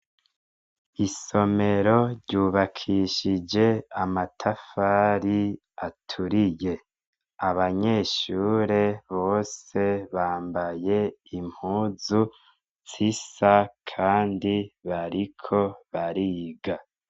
Isomero ryubakishije amatafari aturiye. Abanyeshure bose bambaye impuzu zisa kandi bariko bariga.